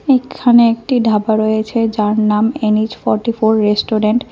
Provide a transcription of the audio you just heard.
এক্ষানে একটি ঢাবা রয়েছে যার নাম এন_এইচ ফর্টি ফোর রেস্টুরেন্ট ।